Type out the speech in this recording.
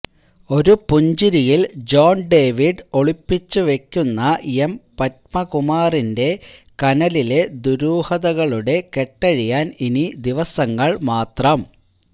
ഒരു പുഞ്ചരിയില് John David ഒളിപ്പിച്ചു വയ്ക്കുന്ന എം പത്മകുമാറിന്റെ കനലിലെ ദുരൂഹതകളുടെ കെട്ടഴിയാന് ഇനി ദിവസങ്ങള് മാത്രം